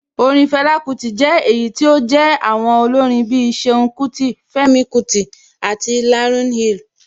Orin Fela Kuti jẹ́ èyí tí ó jé àwọn olórin bí i Ṣeun Kuti, Femi Kuti àti Lauryn Hill.